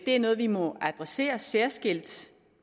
det er noget vi må adressere særskilt